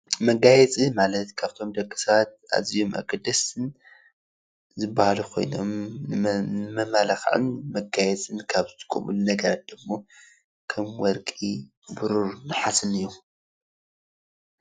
መጋየፂ ማለት ካብቶም ደቂ ሰባት ኣዝዮም ኣገደስትን ዝባሃሉ ኮይኖም ንመመላክዕን መጋየፅን ካብ ዝጥቀምሎም ነገራት ደሞ ከም ወርቂ፣ ብሩር ናሃሲን እዮም፡፡